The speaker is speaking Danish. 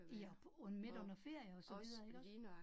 Ja og på midt under ferier og så videre